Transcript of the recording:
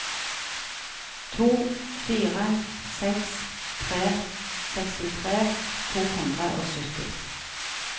to fire seks tre sekstitre to hundre og sytti